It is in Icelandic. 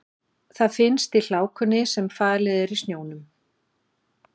Það finnst í hlákunni sem falið er í snjónum.